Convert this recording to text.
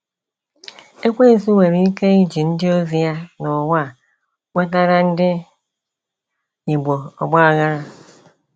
Ekwensu nwere ike iji ndị ozi ya n'ụwa nwetara ndị Igbo ọgbaghara.